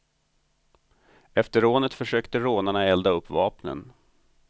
Efter rånet försökte rånarna elda upp vapnen.